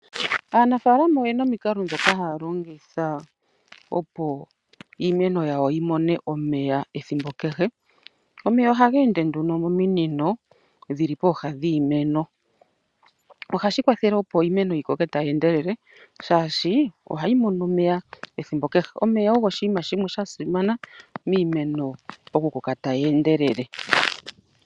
Aanafaalama oye na omikalo ndhoka ha ya longitha opo iimeno yawo yi mone omeya ethimbo kehe. Omeya oha ga ende nduno mominino, dhili pooha dhiimeno. Oha shi kwathele opo iimeno yikoke ta yi endelele, shaashi oha yi mono omeya ethimbo kehe. Omeya ogo oshiima shimwe Sha simana miimeno oku koka ta yi undelete.